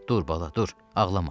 Dur bala, dur, ağlama.